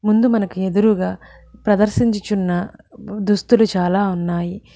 ముందు మనకు ఎదురుగా ప్రదర్శించుచున్న దుస్తులు చాలా ఉన్నాయి.